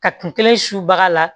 Ka kun kelen subaga la